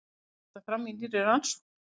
Kemur þetta fram í nýrri rannsókn